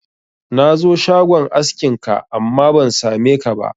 Na zo shagon askin ka, amma ban sa me ka ba